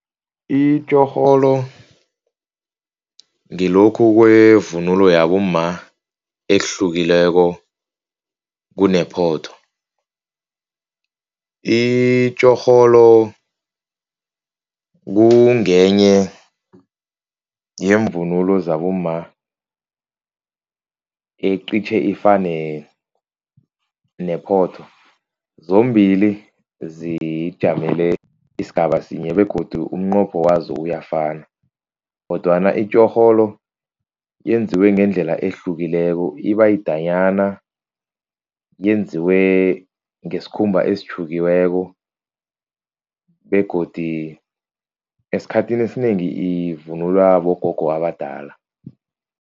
Itjorholo ngilokhu kwevunulo yabomma ehlukileko kunephotho. Itjorholo kungenye yemvunulo zabomma eqitjhe ifane nephotho, zombili zijamele isigaba sinye begodu umnqopho wazo uyafana. Kodwana itjorholo yenziwe ngendlela ehlukileko iba yidanyana, yenziwe ngesikhumba esitjhukiweko begodu esikhathini esinengi ivunulwa bogogo abadala.